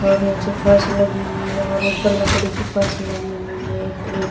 और नीचे फर्श लगी हुई है और ऊपर लकड़ी की फर्श लगी हुई है। प्ले --